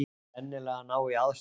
Sennilega að ná í aðstoð.